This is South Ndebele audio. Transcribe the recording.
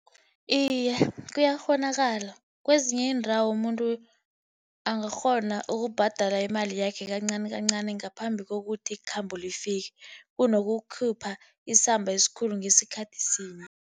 Iye, kuyakghonakala. Kwezinye iindawo umuntu angakghona ukubhadala imali yakhe kancani kancani ngaphambi kokuthi ikhambo lifike. Kunokukhipha isamba esikhulu ngesikhathi sinye.